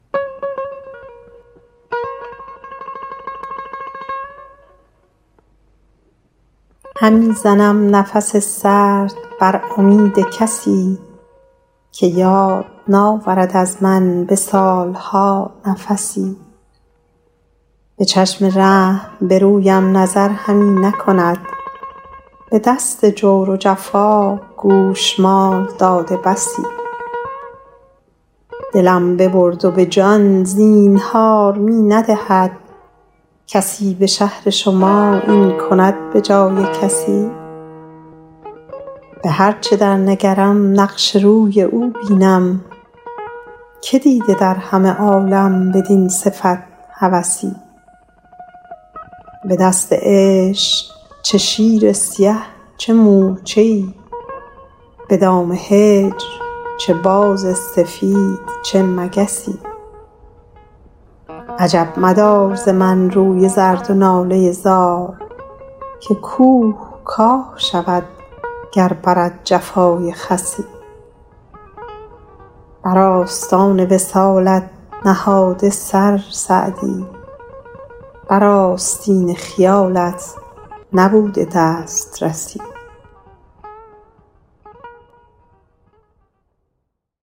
همی زنم نفس سرد بر امید کسی که یاد ناورد از من به سال ها نفسی به چشم رحم به رویم نظر همی نکند به دست جور و جفا گوشمال داده بسی دلم ببرد و به جان زینهار می ندهد کسی به شهر شما این کند به جای کسی به هر چه در نگرم نقش روی او بینم که دیده در همه عالم بدین صفت هوسی به دست عشق چه شیر سیه چه مورچه ای به دام هجر چه باز سفید چه مگسی عجب مدار ز من روی زرد و ناله زار که کوه کاه شود گر برد جفای خسی بر آستان وصالت نهاده سر سعدی بر آستین خیالت نبوده دسترسی